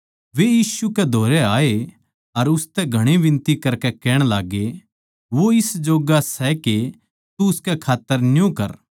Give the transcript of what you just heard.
वे यीशु कै धोरै आए अर उसतै घणी बिनती करकै कहण लाग्गे वो इस जोग्गा सै के तू उसकै खात्तर न्यू करै